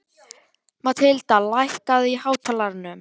Mathilda, lækkaðu í hátalaranum.